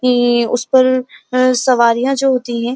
ये उसपर अं सवारियां जो होती हैं --